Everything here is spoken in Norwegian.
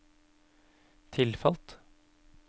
tilfalt